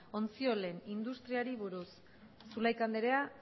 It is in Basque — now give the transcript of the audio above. ontziolen industriari buruz zulaika andrea